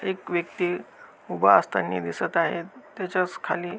एक व्यक्ति उभा असतानी दिसत आहे त्याच्याचखाली--